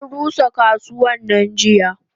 Anrusa kasuwannan jiya.